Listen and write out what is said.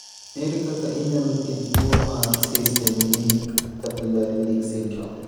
Ere kaka inyalo thiedh tuwo mar systemic capillary leak syndrome?